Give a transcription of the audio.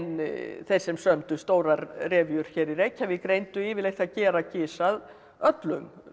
þeir sem sömdu stórar hér í Reykjavík reyndu yfirleitt að gera gys að öllum